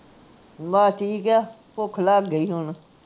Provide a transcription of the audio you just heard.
ਬੱਸ ਠੀਕ ਹੈ ਭੁੱਖ ਲੱਗ ਗਈ ਹੁਣ